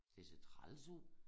Det ser træls ud